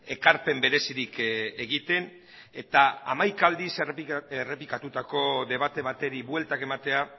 ekarpen berezirik egiten eta hamaika aldiz errepikatutako debate bati bueltak ematea